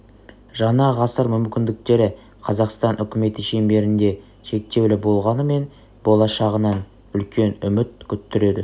жаңа ғасыр мүмкіндіктері қазақстан үкіметі шеңберінде шектеулі болғанымен болашағынан үлкен үміт күттіреді